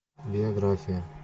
биография